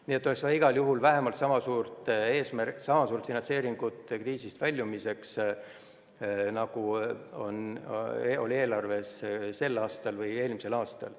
Nii et igal juhul oleks vaja vähemalt sama suurt finantseeringut kriisist väljumiseks, nagu oli eelarves sel või eelmisel aastal.